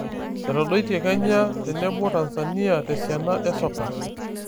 Etodoite kenya tenebo Tanzania tesiana esoka.